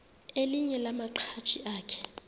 elinye lamaqhaji akhe